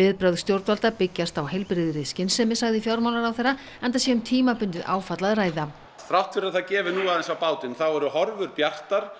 viðbrögð stjórnvalda byggjast á heilbrigðri skynsemi segir fjármálaráðherra enda sé um tímabundið áfall að ræða þrátt fyrir að það gefi nú aðeins á bátinn þá eru horfur bjartar